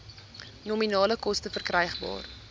nominale koste verkrygbaar